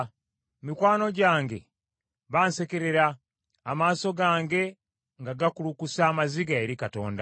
Mikwano gyange bansekerera, amaaso gange nga gakulukusa amaziga eri Katonda.